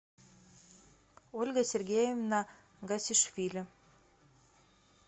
ольга сергеевна гасишвили